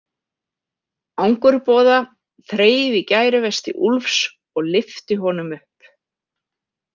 Angurboða þreif í gæruvesti Úlfs og lyfti honum upp.